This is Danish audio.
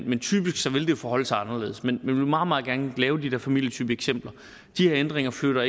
men typisk vil det jo forholde sig anderledes men jeg vil meget meget gerne lave de der familietypeeksempler de her ændringer flytter